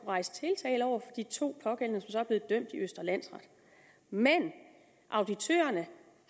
rejse tiltale over for de to pågældende så er blevet dømt i østre landsret men auditørerne